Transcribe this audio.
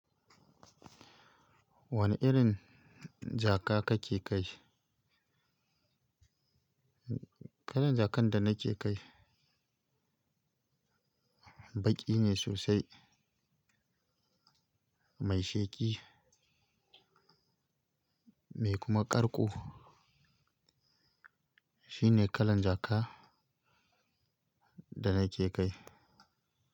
Wane irin jaka kake kai? Kalan jakan da nake Kai Baƙi ne sosai, mai sheƙi, mai kuma ƙarƙo. Shine kalan jaka da nake Kai.